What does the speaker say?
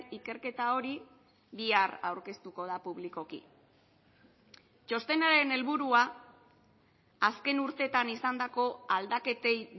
ikerketa hori bihar aurkeztuko da publikoki txostenaren helburua azken urteetan izandako aldaketei